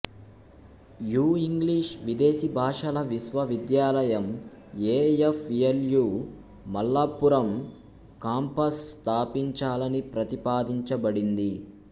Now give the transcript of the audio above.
you English విదేశీ భాషల విశ్వవిద్యాలయం E F L U Malappuram campus స్థాపించాలని ప్రతిపాదించబడింది